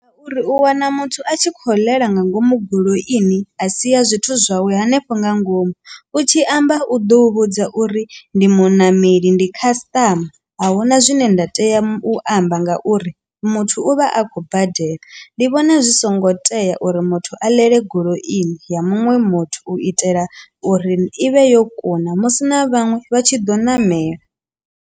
Ngauri u wana muthu a tshi kho ḽela nga ngomu goloini a si ya zwithu zwawe hanefho nga ngomu u tshi amba u do u vhudza uri ndi muṋameli ndi khasiṱama ahuna zwine nda tea u amba ngauri muthu u vha a khou badela, ndi vhona zwi songo tea uri muthu a ḽele goloini ya muṅwe muthu u itela uri i vhe yo kuna musi na vhaṅwe vha tshi ḓo ṋamela.